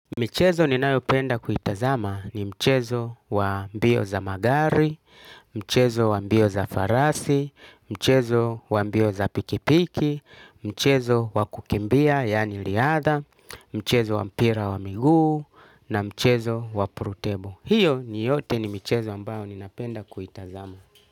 Michezo ninayo penda kuitazama ni mchezo wa mbio za magari, mchezo wa mbio za farasi, mchezo wa mbio za pikipiki, mchezo wa kukimbia yani riatha, mchezo wa mpira wa miguu na mchezo wa prutebo. Hiyo yote ni michezo ambayo nina penda kuitazama.